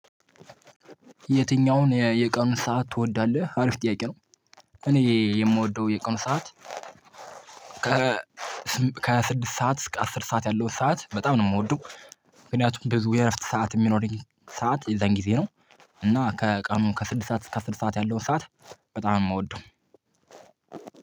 የትኛውን የቀኑን ሰዓት ትወዳለህ አሪፍ ጥያቄ ነው? እኔ የምወደው የቀኑ ሰዓት ከ ስድስት ሰዓት እስከ አስር ሰዓት ያለው ሰዓት በጣም ነው የምወደው። ምክንያቱም ብዙ የእረፍት ሰዓት የሚኖረኝ ሰዓት የዛን ጊዜ ነው። እና ከቀኑ ከስድስት ሰዓት እስከ አስር ሰዓት ያለውን ሰዓት በጣም እምወደው።